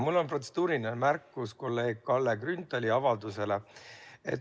Mul on protseduuriline märkus kolleeg Kalle Grünthali avalduse kohta.